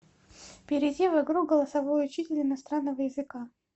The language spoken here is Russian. перейди в игру голосовой учитель иностранного языка